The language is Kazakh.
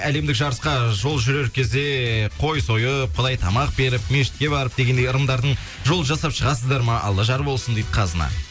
әлемдік жарысқа жол жүрер кезде ііі қой сойып құдайы тамақ беріп мешітке барып дегендей ырымдардың жолын жасап шығасыздар ма алла жар болсын дейді қазына